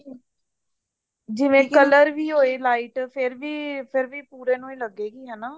ਜਿਵੇਂ color ਵੀ ਹੋਵੇ lite ਫ਼ੇਰ ਵੀ ਫ਼ੇਰ ਵੀ ਪੂਰੇ ਨੂੰ ਹੀ ਲੱਗੇਗੀ ਹਨਾ